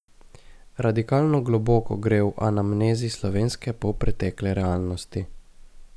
Radikalno globoko gre v anamnezi slovenske polpretekle realnosti.